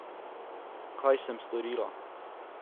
Kaj sem storila?